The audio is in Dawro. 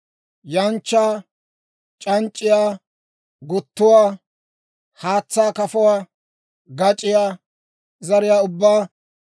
yanchchaa, c'anc'c'iyaa guttuwaa, haatsaa kafuwaa, gac'iyaa zariyaa ubbaa,